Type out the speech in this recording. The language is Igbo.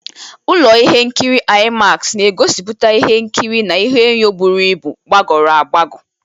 Ụlọ ihe nkiri IMAX na-egosipụta ihe nkiri na ihụenyọ̀ bụrụ ịbụ, gbagọrọ agbagọ.